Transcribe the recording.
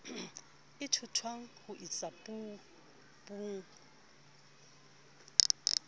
e ithutwang ho isa puong